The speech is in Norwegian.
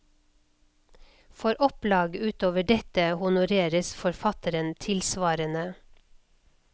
For opplag utover dette honoreres forfatteren tilsvarende.